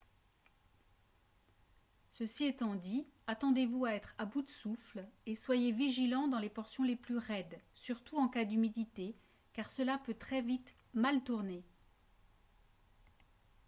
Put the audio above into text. ceci étant dit attendez-vous à être à bout de souffle et soyez vigilant dans les portions les plus raides surtout en cas d'humidité car cela peut très vite mal tourner